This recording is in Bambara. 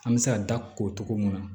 An bɛ se ka da ko cogo mun na